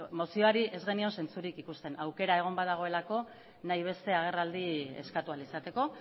mozioari ez genion zentzurik ikusten aukera egon badagoelako nahi beste agerraldi eskatu ahal izateko